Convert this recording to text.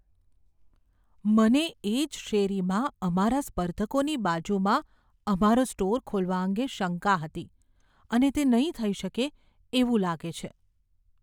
મને એ જ શેરીમાં અમારા સ્પર્ધકોની બાજુમાં અમારો સ્ટોર ખોલવા અંગે શંકા હતી અને તે નહીં થઇ શકે એવું લાગે છે.